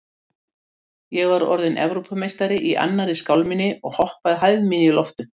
Ég var orðinn Evrópumeistari í annarri skálminni og hoppaði hæð mína í loft upp.